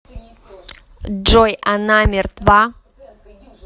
джой она мертва